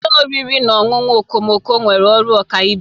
Ụlọ oriri na ọṅụṅụ okomoko nwere ọrụ ọkaibe.